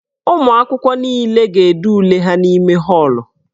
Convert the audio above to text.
Ụmụ akwụkwọ niile ga-ede ule ha n'ime họọlụ.